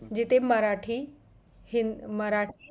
जिथं मराठी हीं मराठी